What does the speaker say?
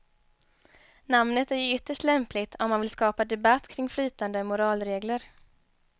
Namnet är ju ytterst lämpligt om man vill skapa debatt kring flytande moralregler.